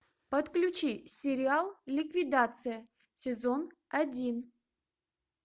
подключи сериал ликвидация сезон один